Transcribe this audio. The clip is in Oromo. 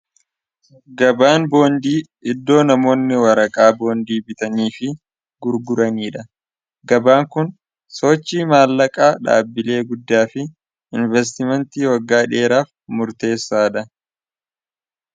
Gabaan boondii iddoo namoonni waraqaa boondii bitanii fi gurguraniidha gabaan kun sochi maallaqaa dhaabbilee guddaa fi investimentii waggaa dheeraaf murteessaadha.